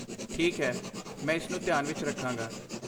ਠੀਕ ਹੈ, ਮੈਂ ਇਸਨੂੰ ਧਿਆਨ ਵਿੱਚ ਰੱਖਾਂਗਾ।